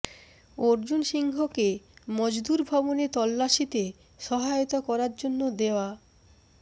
অর্জুন সিংহকে মজদুর ভবনে তল্লাশিতে সহায়তা করার জন্য দেওয়া